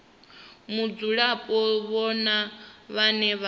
mudzulapo ndi vhone vhane vha